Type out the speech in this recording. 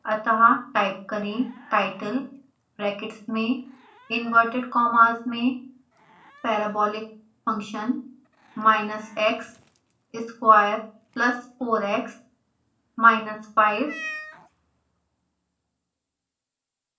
अतः टाइप करें title brackets में इंवर्टैड कॉमास में parabolic function minus x square plus 4x minus 5